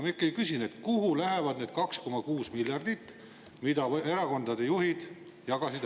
Ma ikkagi küsin, kuhu lähevad need 2,6 miljardit, mille erakondade juhid ära jagasid.